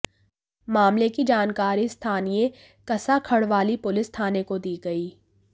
मामले की जानकारी स्थानीय कसारवड़वली पुलिस थाने को दी गई